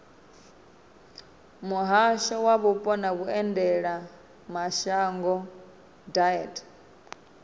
muhasho wa mupo na vhuendelamashango deat